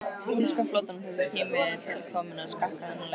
Þýska flotanum þótti tími til kominn að skakka þennan leik.